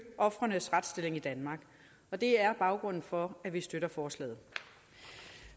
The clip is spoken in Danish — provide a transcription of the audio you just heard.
ofrenes retsstilling i danmark og det er baggrunden for at vi støtter forslaget